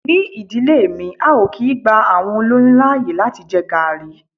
Ni ìdílé mi, a ò kí gba àwọn olóyún láàyè láti jẹ Garri.